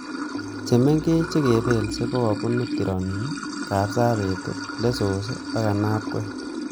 Chemengech che kepelso kokabunu tironin, kabsabet lessos ak ainabkoi